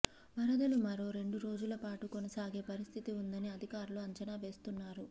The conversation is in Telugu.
వరదలు మరో రెండు రోజుల పాటు కొనసాగే పరిస్థితి ఉందని అధికారులు అంచనా వేస్తున్నారు